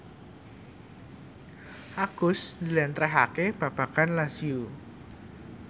Agus njlentrehake babagan Lazio